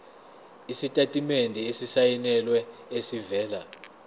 isitatimende esisayinelwe esivela